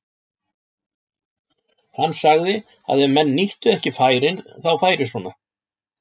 Hann sagði að ef menn nýttu ekki færin þá færi svona.